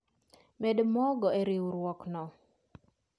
Med mogo e riurwok no